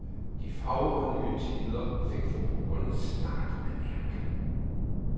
De fagre, nye tider fik forbrugerne snart at mærke.